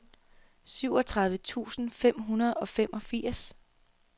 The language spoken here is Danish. syvogtredive tusind fem hundrede og femogfirs